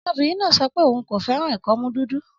Ọmọbìnrin náà sọ pé òun kò fẹ́ràn ìkọ́mú dúdú.